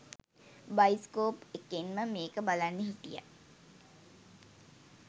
bioscope එකෙන්ම මේක බලන්න හිටිය